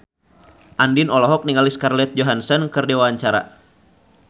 Andien olohok ningali Scarlett Johansson keur diwawancara